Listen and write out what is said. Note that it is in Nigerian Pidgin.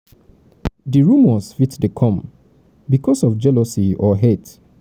di rumours fit dey come becuase of jealousy or hate